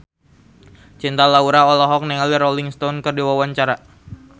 Cinta Laura olohok ningali Rolling Stone keur diwawancara